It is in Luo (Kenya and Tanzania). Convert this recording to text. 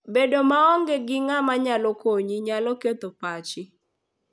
Bedo maonge gi ng'ama nyalo konyi, nyalo ketho pachi.